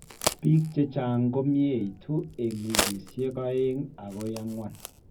Biik chechang' komieitu eng' wikisiek oeng' akoi ang'wan